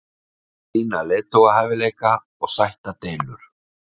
Sýna leiðtogahæfileika og sætta deilur.